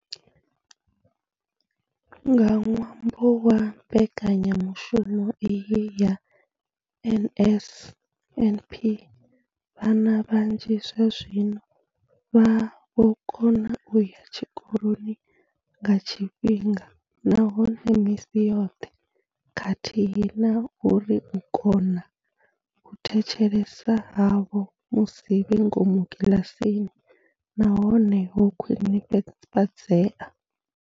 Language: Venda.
Nga ṅwambo wa mbekanyamushumo iyi ya NSNP, vhana vhanzhi zwazwino vha vho kona u ya tshikoloni nga tshifhinga nahone misi yoṱhe khathihi na uri u kona u thetshelesa havho musi vhe ngomu kiḽasini na hone ho khwinifhadzea.